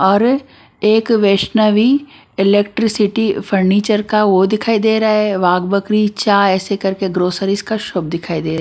और एक Vaishnavi electricity furniture का वो दिखाई दे रहा है वाग बकरी चा ऐसे करके ग्रोसरीज़ का शॉप दिखाई दे--